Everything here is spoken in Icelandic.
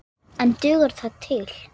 En dugar það til?